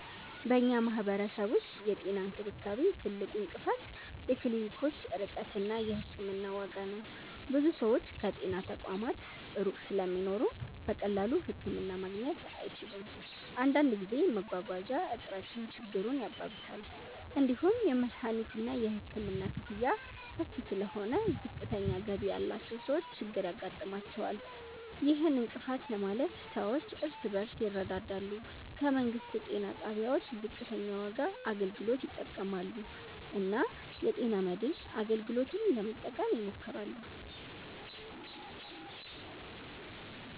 በእኛ ማህበረሰብ ውስጥ የጤና እንክብካቤ ትልቁ እንቅፋት የክሊኒኮች ርቀት እና የሕክምና ዋጋ ነው። ብዙ ሰዎች ከጤና ተቋማት ሩቅ ስለሚኖሩ በቀላሉ ህክምና ማግኘት አይችሉም። አንዳንድ ጊዜ መጓጓዣ እጥረትም ችግሩን ያባብሳል። እንዲሁም የመድሀኒትና የሕክምና ክፍያ ከፍ ስለሆነ ዝቅተኛ ገቢ ያላቸው ሰዎች ችግር ያጋጥማቸዋል። ይህን እንቅፋት ለማለፍ ሰዎች እርስ በርስ ይረዳዳሉ፣ ከመንግስት ጤና ጣቢያዎች ዝቅተኛ ዋጋ አገልግሎት ይጠቀማሉ እና የጤና መድን አገልግሎትን ለመጠቀም ይሞክራሉ።